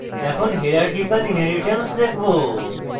এখন hierarchical inheritance দেখবো